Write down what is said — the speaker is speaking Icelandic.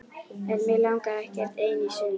En mig langaði ekkert ein í sund.